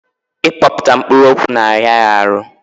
Ị kpọkpụta mkpụrụ okwu na-ara ya ahụ.